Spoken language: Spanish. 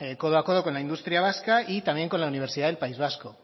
codo a codo con la industria vasca y también con la universidad del país vasco